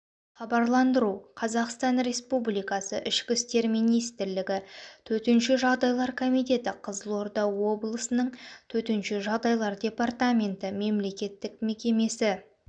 хабарландыру қазақстан республикасы ішкі істер министрлігі төтенше жағдайлар комитеті қызылорда облысының төтенше жағдайлар департаменті мемлекеттік мекемесі